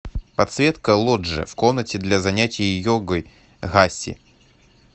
подсветка лоджии в комнате для занятия йогой гаси